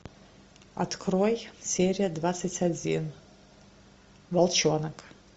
открой серия двадцать один волчонок